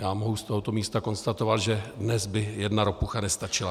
Já mohu z tohoto místa konstatovat, že dnes by jedna ropucha nestačila.